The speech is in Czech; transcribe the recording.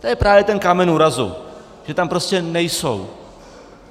To je právě ten kámen úrazu, že tam prostě nejsou.